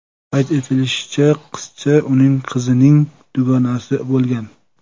Qayd etilishicha, qizcha uning qizining dugonasi bo‘lgan.